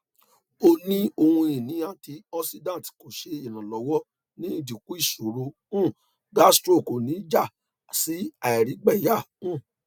o ni ohun ini antioxidant ko ṣe iranlọwọ ni idinku iṣoro um gastro ko ni ja si àìrígbẹyà um